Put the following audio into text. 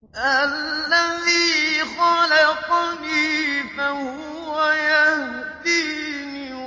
الَّذِي خَلَقَنِي فَهُوَ يَهْدِينِ